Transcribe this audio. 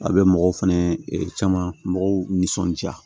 A bɛ mɔgɔw fɛnɛ caman mɔgɔw nisɔndiya